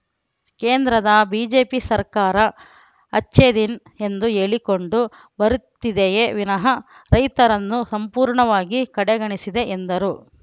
ಕೇಂದ್ರದ ಬಿಜೆಪಿ ಸರ್ಕಾರ ಅಚ್ಚೆದಿನ್ ಎಂದು ಹೇಳಿಕೊಂಡು ಬರುತ್ತಿದೆಯೇ ವಿನಃ ರೈತರನ್ನು ಸಂಪೂರ್ಣವಾಗಿ ಕಡೆಗಣಿಸಿದೆ ಎಂದರು